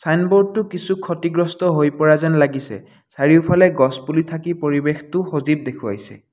Signboard টো কিছু ক্ষতিগ্ৰস্ত হৈ পৰা যেন লাগিছে চাৰিওফালে গছপুলি থাকি পৰিৱেশটো সজীৱ দেখুওৱাছে।